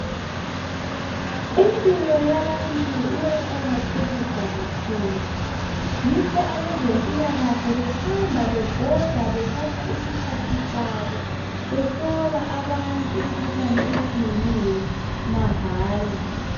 Impilo yabantu iyaqakathekiswa kakhulu yikho abezempilakahle behambe bebhoda bethatha isikhathi sabo behlola abantu imikhuhlane etshiyeneyo mahala.